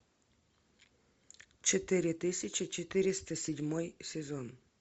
четыре тысячи четыреста седьмой сезон